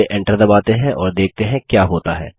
चलिए Enter दबाते हैं और देखते हैं क्या होता है